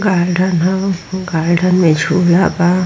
garden है garden